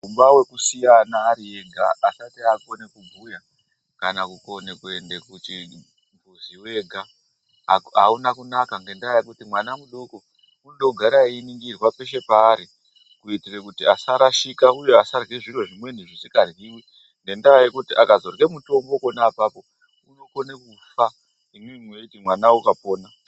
Mukhuba wekusiya ana ari ega asati akona kubhuya kana kukona kuenda kuzviweka auna kunaka ngendaa yekuti mwana mudoko unoda kugara weiningirwa peshe paari .kuitira kuti asarashika uye asarya zviro zvimweni zvisikaryiwi ngendaa yekuti akazorya mitombo pona apapo unokona kufa ,imwimwi mweiti mwana wakapona.